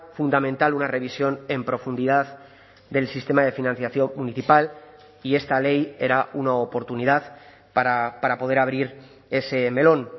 fundamental una revisión en profundidad del sistema de financiación municipal y esta ley era una oportunidad para poder abrir ese melón